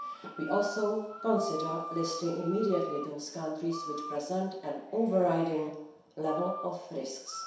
We will also consider listing immediately those countries which present an overriding level of risks.